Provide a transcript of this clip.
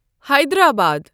Hyderabad